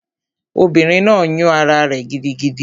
Obìnrin náà yún ará rẹ̀ gidigidi